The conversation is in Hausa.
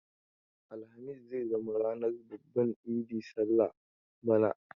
Alhamis zai zama ranar babban idi sallar bana.